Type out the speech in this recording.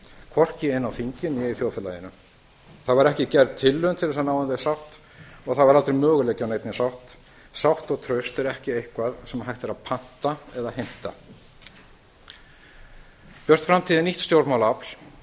hvorki inni á þingi né í þjóðfélaginu það var ekki gerð tilraun til að ná um þau sátt og það var aldrei möguleiki á neinni sátt sátt og traust er ekki eitthvað sem hægt er að panta eða heimta björt framtíð er nýtt stjórnmálaafl